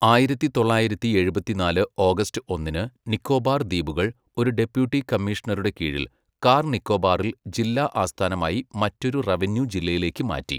ആയിരത്തി തൊള്ളായിരത്തി എഴുപത്തിനാല് ഓഗസ്റ്റ് ഒന്നിന്, നിക്കോബാർ ദ്വീപുകൾ ഒരു ഡെപ്യൂട്ടി കമ്മീഷണറുടെ കീഴിൽ, കാർ നിക്കോബാറിൽ ജില്ലാ ആസ്ഥാനമായി മറ്റൊരു റവന്യൂ ജില്ലയിലേക്ക് മാറ്റി.